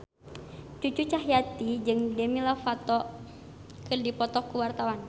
Cucu Cahyati jeung Demi Lovato keur dipoto ku wartawan